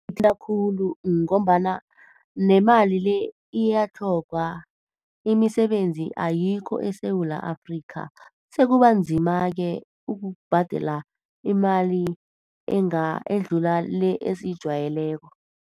Kungithinta khulu ngombana nemali le iyatlhogwa, imisebenzi ayikho eSewula Afrika. Sekubanzima-ke ukubhadela imali edlula le esiyijwayeleko.